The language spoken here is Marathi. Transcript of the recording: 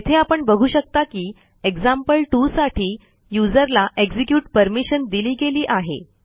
येथे आपण बघू शकता की एक्झाम्पल2 साठी यूझर ला एक्झिक्युट परमिशन दिली गेली आहे